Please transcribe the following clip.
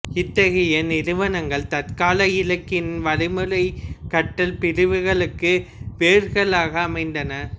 இத்தகைய நிறுவனங்கள் தற்கால இலக்கண வழிமுறைக் கற்றல் பிரிவுகளுக்கு வேர்களாக அமைந்தன